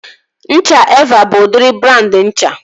Ncha Evaa bụ udịri brandị ncha